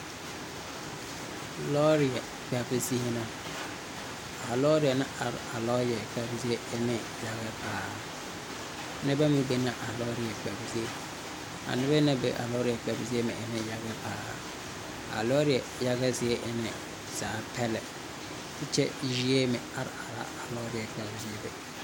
Lɔɔre kpɛb zie na. A lɔɔre na are a lɔɔre kpɛb zie ene yaga paaa. Nebɛ meŋ bɛna a lɔɔre kpɛb zie. A nebɛ na be a lɔɔre kpɛb zie meŋ ene yaga paaa. A lɔɔre yaga zie ene zaa pɛlɛ. Kyɛ yie meŋ are are a lɔɔre kpɛb zie be